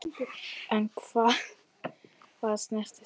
En um hvað snerist deilan?